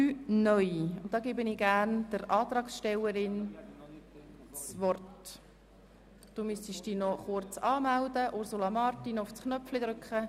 Gestern haben wir die Eintretensdebatte mit einer Grundsatzdiskussion kombiniert und die Abstimmung über das Eintreten durchgeführt.